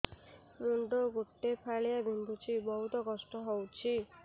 ମୁଣ୍ଡ ଗୋଟେ ଫାଳିଆ ବିନ୍ଧୁଚି ବହୁତ କଷ୍ଟ ହଉଚି